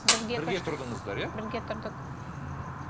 бірге тұрдыңыздар иә бірге тұрдық ммм